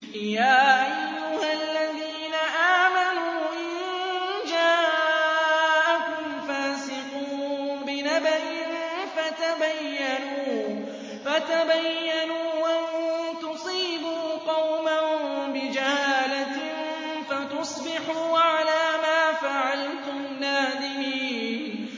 يَا أَيُّهَا الَّذِينَ آمَنُوا إِن جَاءَكُمْ فَاسِقٌ بِنَبَإٍ فَتَبَيَّنُوا أَن تُصِيبُوا قَوْمًا بِجَهَالَةٍ فَتُصْبِحُوا عَلَىٰ مَا فَعَلْتُمْ نَادِمِينَ